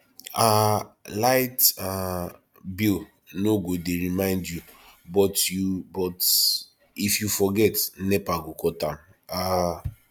um light um bill no go dey remind you but you but if you forget nepa go cut am um